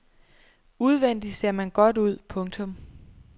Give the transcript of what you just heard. Udvendig ser man godt ud. punktum